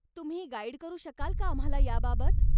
तुम्ही गाईड करू शकाल का आम्हाला याबाबत?